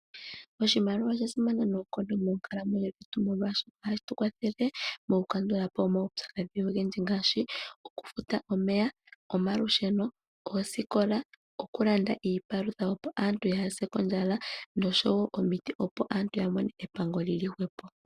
Oshimaliwa oshasimana noonkondo moonkakamwe dhetu moka hashi tu kwathele, mokukandulapo omaupyakadhi ogendji ngaashi okufuta omeya, omalusheno, oosikola, okulanda iipalutha opo aantu yaa se ondjala nosho wo omiti opo aantu yamone epango li li hwepo.